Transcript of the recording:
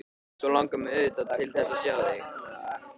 Svo langar mig auðvitað til þess að sjá þig.